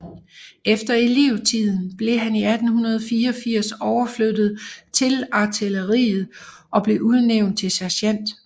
Efter elevtiden blev han 1884 overflyttet til artilleriet og blev udnævnt til sergent